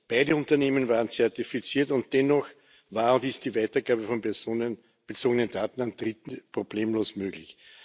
Beide Unternehmen waren zertifiziert, und dennoch war und ist die Weitergabe von personenbezogenen Daten an Dritte problemlos möglich.